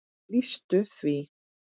lýstu því?